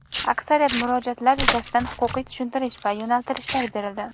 Aksariyat murojaatlar yuzasidan huquqiy tushuntirish va yo‘nalishlar berildi.